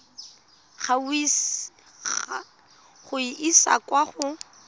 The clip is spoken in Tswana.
go e isa kwa go